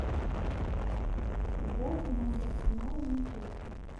футбол команд арсенал и манчестер